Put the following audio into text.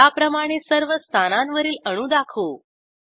त्याप्रमाणे सर्व स्थानांवरील अणू दाखवू